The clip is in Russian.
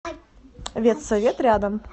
ветсовет рядом